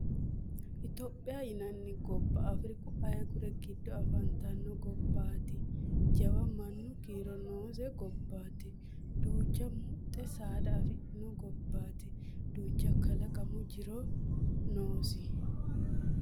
Ethiopia yinanni gobba Afriku ayigure giddo afantano gobbaati jawa mannu kiiro noose gobbaati duuchcha muxxe saada afantano gobbaati duucha kalaqamu jirono noosi